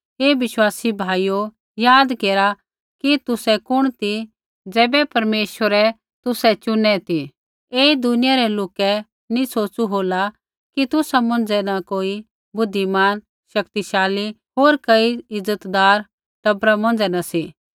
हे विश्वासी भाइयो याद केरा कि तुसै कुण ती ज़ैबै परमेश्वरै तुसै चुनै ती ऐई दुनिया रै लोकै नैंई सोचु होला कि तुसा मौंझ़ै न कई बुद्धिमान शक्तिशाली होर कई इज़तदार टबरा मौंझ़ै न सी